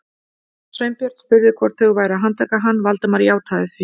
Sveinbjörn spurði hvort þau væru að handtaka hann, Valdimar játaði því.